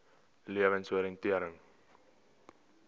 lewensoriëntering